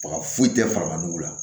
Baga foyi tɛ farabugula